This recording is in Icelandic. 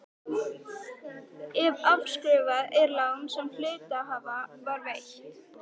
ef afskrifað er lán sem hluthafa var veitt.